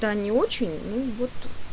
да не очень ну вот